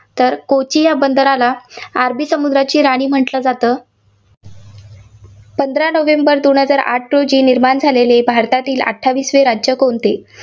तर कोची या बंदराला अरबी समुद्राची राणी म्हटलं जातं. पंधरा नोव्हेंबर दोन हजार आठ रोजी निर्माण झालेले भारतातील अठ्ठावीसवे राज्य कोणते?